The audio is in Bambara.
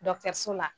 so la